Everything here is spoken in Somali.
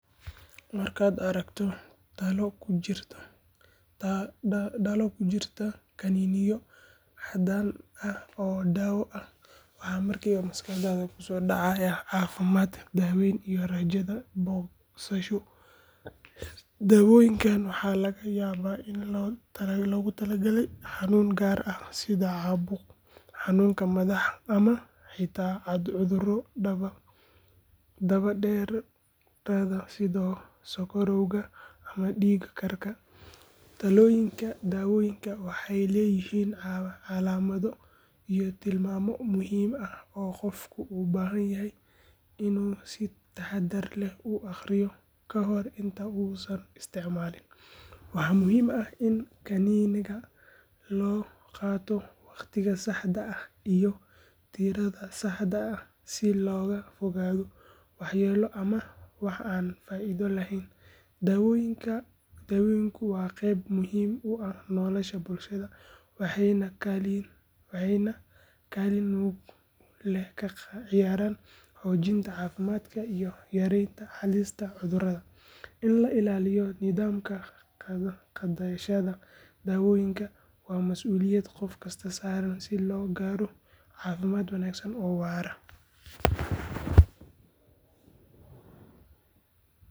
Marka aad aragto dhalo ku jirto kaniiniyo caddaan ah oo daawo ah, waxa markiiba maskaxdaada ku soo dhacaya caafimaad, daawayn iyo rajada bogsasho. Daawooyinkan waxaa laga yaabaa in loogu talagalay xanuun gaar ah sida caabuq, xanuunka madax, ama xitaa cudurro daba dheeraada sida sonkorowga ama dhiig karka. Dhalooyinka daawooyinka waxay leeyihiin calaamado iyo tilmaamo muhiim ah oo qofku u baahan yahay inuu si taxaddar leh u akhriyo ka hor inta uusan isticmaalin. Waxaa muhiim ah in kaniiniga loo qaato waqtiga saxda ah iyo tirada saxda ah si looga fogaado waxyeelo ama wax aan faa’iido lahayn. Daawooyinku waa qayb muhiim u ah nolosha bulshada, waxayna kaalin mug leh ka ciyaaraan xoojinta caafimaadka iyo yaraynta halista cudurrada. In la ilaaliyo nidaamka qaadashada daawooyinka waa masuuliyad qof kasta saaran si loo gaaro caafimaad wanaagsan oo waara.